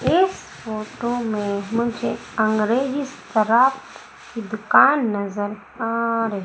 इस फोटो में मुझे अंग्रेजी शराब की दुकान नजर आ र--